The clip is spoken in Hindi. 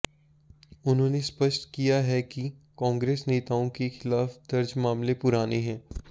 उन्होंने स्पष्ट किया है कि कांग्रेस नेताओं के खिलाफ दर्ज मामले पुराने हैं